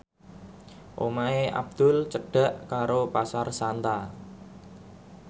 omahe Abdul cedhak karo Pasar Santa